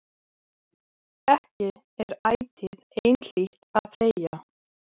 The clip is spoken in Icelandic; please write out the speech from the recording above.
Ekki er ætíð einhlítt að þegja.